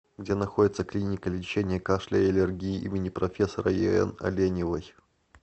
где находится клиника лечения кашля и аллергии им профессора ен оленевой